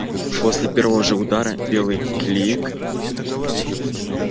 после первого же удара белый клик